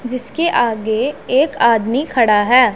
जिसके आगे एक आदमी खड़ा हैं।